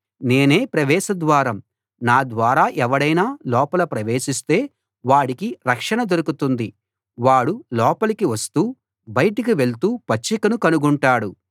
నేనే ప్రవేశ ద్వారం నా ద్వారా ఎవడైనా లోపల ప్రవేశిస్తే వాడికి రక్షణ దొరుకుతుంది వాడు లోపలికి వస్తూ బయటకి వెళ్తూ పచ్చికను కనుగొంటాడు